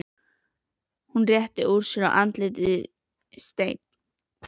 Hún réttir úr sér, andlitið steinn.